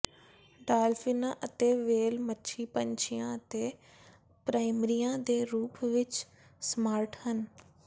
ਡਾਲਫਿਨਾਂ ਅਤੇ ਵ੍ਹੇਲ ਮੱਛੀ ਪੰਛੀਆਂ ਅਤੇ ਪ੍ਰਾਇਮਰੀਆਂ ਦੇ ਰੂਪ ਵਿੱਚ ਸਮਾਰਟ ਹਨ